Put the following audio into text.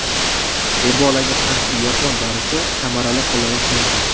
Ebolaga qarshi yapon dorisi samarali qo‘llanilishi mumkin.